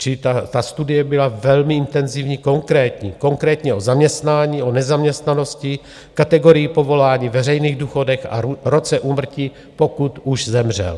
Čili ta studie byla velmi intenzivní, konkrétní, konkrétně o zaměstnání, o nezaměstnanosti, kategorii povolání, veřejných důchodech a roce úmrtí, pokud už zemřel.